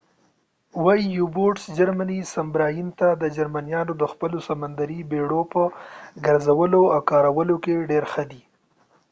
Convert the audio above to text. جرمني سبمراین ته u-boats وایې جرمنیان د خپلو سمندري بیړیو په ګرځولو او کارولو کې ډیر ښه دي